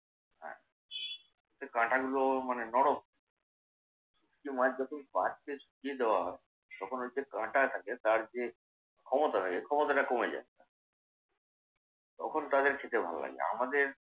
হ্যাঁ, যে কাঁটাগুলো মানে নরম। শুঁটকি মাছ যখন শুকিয়ে দেয়া হয় তখন ওই যে কাঁটা থাকে তার যে ক্ষমতা থাকে ক্ষমতাটা কমে যায়। তখন তাদের খেতে ভালো লাগে। আমাদের এখানে।